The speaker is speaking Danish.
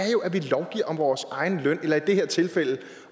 vi lovgiver om vores egen løn eller i det her tilfælde